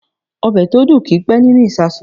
Ọ̀bẹ̀ tó dùn kì í pẹ́ nínú ìsàsùn.